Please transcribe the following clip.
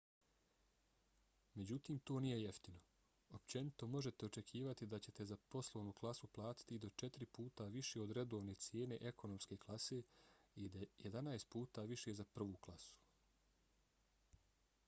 međutim to nije jeftino: općenito možete očekivati da ćete za poslovnu klasu platiti i do četiri puta više od redovne cijene ekonomske klase i jedanaest puta više za prvu klasu!